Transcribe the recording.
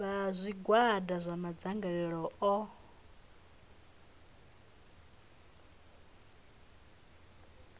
vha zwigwada zwa madzangalelo o